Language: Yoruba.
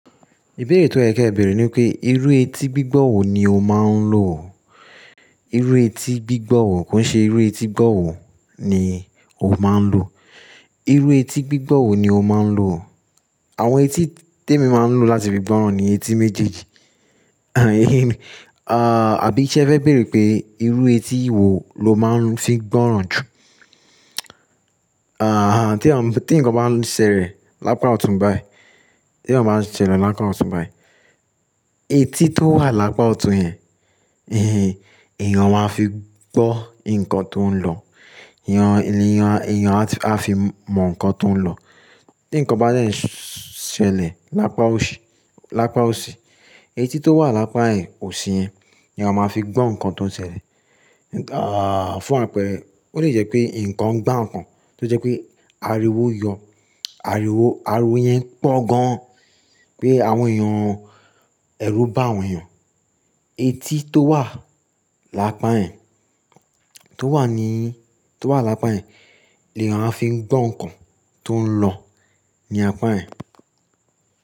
Ìbéèrè to yẹ kẹ bèèrè nipé irú etí gbígbọ́ wo ni o máa ń lò? Irú etí gbígbọ́ wo, ko n ṣe irú etí gbọ́ wo ni o máa ń lò? Irú etí gbígbọ́ wo ni o máa ń lò? Àwọn etí tí èmi máa ń lò láti fi gbọ́ran ni etí méjèèjì. Àbí ṣẹ́ e fẹ́ bèèrè pé irú etí wo lo máa ń fi gbọ́ran jù? Àhà, tí nǹkan bá ń ṣẹlẹ̀ lápá ọ̀tún báyìí, tí nǹkan bá ń ṣẹlẹ̀ lápá ọ̀tún báyìí, etí tó wà lápá ọ̀tún yẹn, ìhín, eeyan máa fi gbọ́ nǹkan tó ń lọ. Eeyan, eeyan, eeyan á fi mọ̀ nǹkan tó ń lọ. Tí nǹkan bá dẹ́ ń ṣẹlẹ̀ lápá òsì, lápá òsì, etí tó wà lápá yen òsì yẹn ni a máa fi gbọ́ nǹkan tó ń ṣẹlẹ̀. Fún àpẹẹrẹ, ó lè jẹ́ pé nǹkan gbá nǹkan, tó jẹ́ pé ariwo yọ, ariwo, ariwo yẹn pọ̀ gan-an pé àwọn èèyàn, ẹ̀rù bá àwọn èèyàn. Etí tó wà lápá yẹ̀n, tó wà ní, tó wà lápá yẹ̀n ni eeyan ń fi gbọ́ nǹkan tó ń lọ ní apá yẹn.